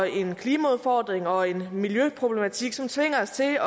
en klimaudfordring og en miljøproblematik som tvinger os til at